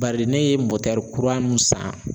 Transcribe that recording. Bari ne ye kura mun san